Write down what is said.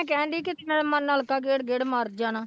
ਕਹਿਣਡੀ ਕਿ ਮੈਂ ਨਲਕਾ ਗੇੜ ਗੇੜ ਮਰ ਜਾਣਾ